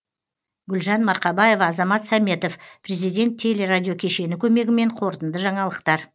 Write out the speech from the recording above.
гүлжан марқабаева азамат сәметов президент теле радио кешені көмегімен қорытынды жаңалықтар